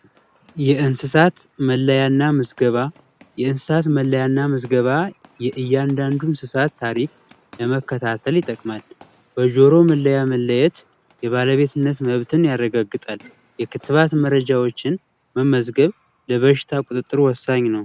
የእንስሳት መለያና መዝገባ የእንስሳት መለያና መዝገባ የእያንዳንዱን እሳት ታሪክ ለመከታተል ይጠቅማል በጆሮ መለያ መለየት የባለቤትነት መብትን ያረጋግጣል የክትባት መረጃዎችን መመዝገብ በሽታ ቁጥጥሩ ወሳኝ ነው